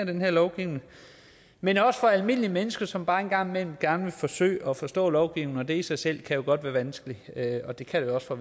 den her lovgivning men også for almindelige mennesker som bare en gang imellem gerne vil forsøge at forstå lovgivningen og det i sig selv kan jo godt være vanskeligt det kan det også for